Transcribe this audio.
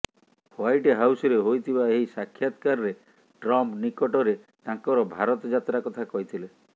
white ହାଉସ୍ରେ ହୋଇଥିବା ଏହି ସାକ୍ଷାତକାରରେ ଟ୍ରମ୍ପ ନିକଟରେ ତାଙ୍କର ଭାରତ ଯାତ୍ରା କଥା କହିଥିଲେ